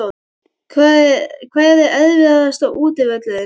Hver er erfiðasti útivöllurinn?